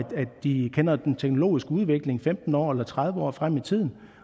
de kender den teknologiske udvikling femten år eller tredive år frem i tiden